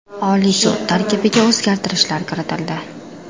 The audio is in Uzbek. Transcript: Oliy sud tarkibiga o‘zgartirishlar kiritildi.